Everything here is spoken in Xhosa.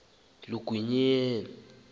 elibi kwathi qabu